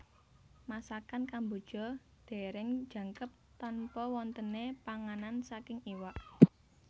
Masakan Kamboja dereng jangkep tanpa wontene panganan saking iwak